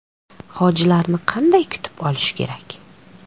Hojilarni qanday kutib olish kerak?.